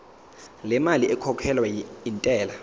lemali ekhokhelwa intela